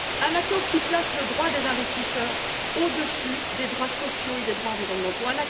un accord qui place les droits des investisseurs au dessus des droits sociaux et des droits environnementaux